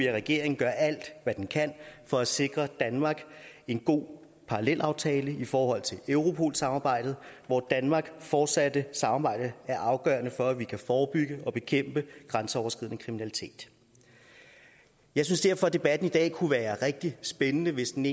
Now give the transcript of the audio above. regeringen gør alt hvad den kan for at sikre danmark en god parallelaftale i forhold til europol samarbejdet hvor danmarks fortsatte samarbejde er afgørende for at vi kan forebygge og bekæmpe grænseoverskridende kriminalitet jeg synes derfor debatten i dag egentlig kunne være rigtig spændende hvis den